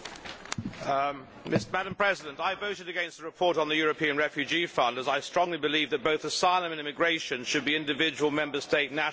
Madam President, I voted against the report on the European Refugee Fund as I strongly believe that both asylum and immigration should be individual Member State national responsibilities.